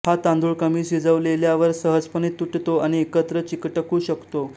हा तांदूळ कमी शिजवलेल्यावर सहजपणे तुटतो आणि एकत्र चिकटकू शकतो